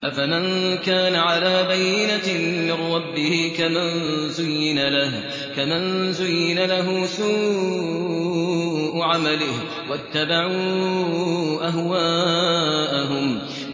أَفَمَن كَانَ عَلَىٰ بَيِّنَةٍ مِّن رَّبِّهِ كَمَن زُيِّنَ لَهُ سُوءُ عَمَلِهِ وَاتَّبَعُوا أَهْوَاءَهُم